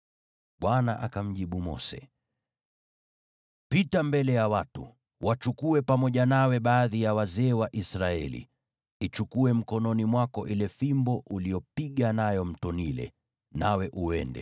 Bwana akamjibu Mose, “Pita mbele ya watu. Wachukue pamoja nawe baadhi ya wazee wa Israeli, ichukue mkononi mwako ile fimbo uliyopiga nayo Mto Naili, nawe uende.